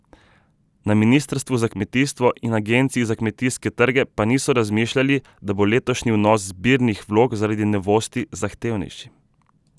Na ministrstvu za kmetijstvo in agenciji za kmetijske trge pa niso razmišljali, da bo letošnji vnos zbirnih vlog zaradi novosti zahtevnejši.